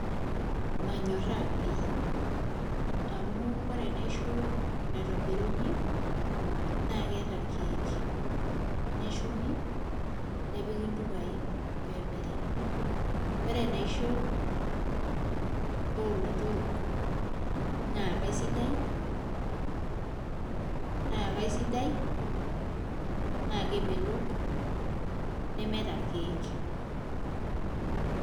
Manyorraa pii amu ore enaisho naitobiruni naa keeta irkeek neshumi nepiki ntupaai pee emiri ore enaisho oolotorrok naa kaisidai naa kemelok nemeeta irkeek.